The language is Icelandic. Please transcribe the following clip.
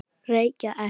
Reykja ekki.